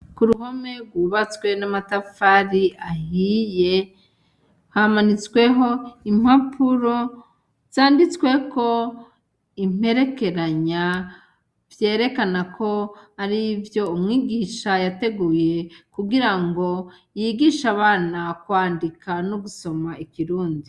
Ku ruhome rwubatswe n'amatafari ahiye hamanitsweho impapuro zanditsweko imperekeranya vyerekana ko ari ivyo umwigisha yateguye kugira ngo yigisha abana kwandika n'ugusoma ikirundi.